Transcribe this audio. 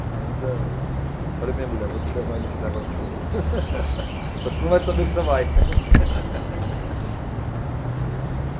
Ainda, falei para a minha mulher, vou te levar ainda para a Terra do Fogo, só que você não vai saber que você vai.